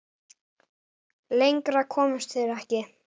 Lengra komust þeir ekki.